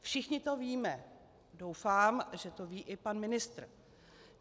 Všichni to víme, doufám, že to ví i pan ministr.